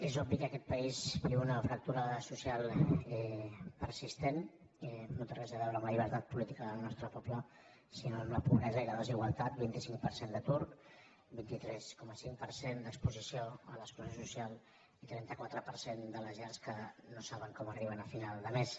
és obvi que aquest país viu una fractura social persistent no té res a veure amb la llibertat política del nostre poble sinó amb la pobresa i la desigualtat vint cinc per cent d’atur vint tres coma cinc per cent d’exposició a l’exclusió social i trenta quatre per cent de les llars que no saben com arriben a final de mes